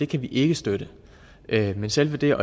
kan vi ikke støtte men selve det